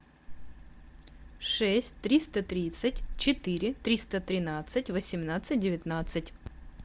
шесть триста тридцать четыре триста тринадцать восемнадцать девятнадцать